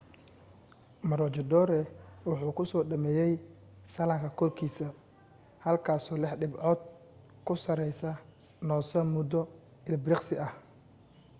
maroochydore waxa uu ku soo dhameeyay sallaanka korkiisa halkaasoo lix dhibcood ka sarraysa noosa muddo ilbiriqsi ah